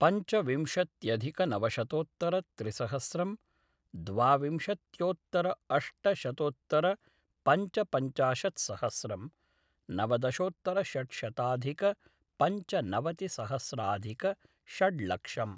पञ्चविंशत्यधिकनवशतोत्तरत्रिसहस्रं द्वाविंशत्योत्तर अष्टशतोत्तरपञ्चपञ्चाशत्सहस्रं नवदशोत्तरषट्शताधिकपञ्चनवतिसहस्राधिकषड् लक्षम्